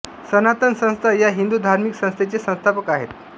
सनातन संस्था या हिंदू धार्मिक संस्थेचे संस्थापक आहेत